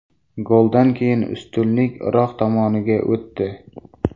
Goldan keyin ustunlik Iroq tomoniga o‘tdi.